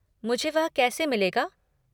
मुझे वह कैसे मिलेगा?